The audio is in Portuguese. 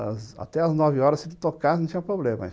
Até as nove horas, se ele tocasse, não tinha problema.